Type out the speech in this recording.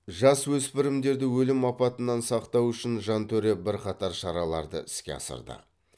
жасөспірімдерді өлім апатынан сақтау үшін жантөре бірқатар шараларды іске асырды